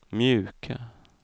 mjuka